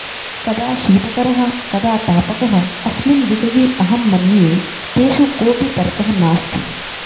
कदा शीतकरः कदा तापकः अस्मिन् विषये अहं मन्ये तेषु कोऽपि तर्कः नास्ति